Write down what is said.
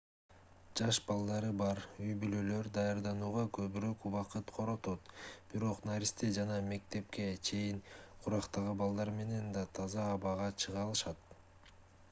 жаш балдары бар үй-бүлөлөр даярданууга көбүрөөк убакыт коротот бирок наристе жана мектепке чейинки курактагы балдар менен да таза абага чыга алышат